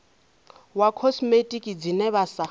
wa khosimetiki dzine vha sa